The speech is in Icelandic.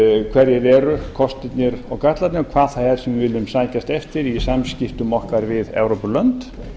hverjir eru kostirnir og gallarnir og hvað það er sem við viljum sækjast eftir í samskiptum okkar við evrópulönd